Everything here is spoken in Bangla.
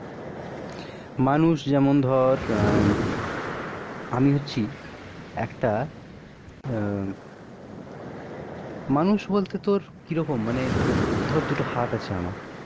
মানুষ যেমন ধর আহ আমি হচ্ছি একটা আহ মানুষ, বলতে তো কি রকম? মানে ধর দুটো হাত আছে আমার.